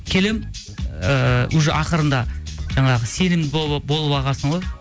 келемін ыыы уже ақырында жаңағы сенімді болып алғансың ғой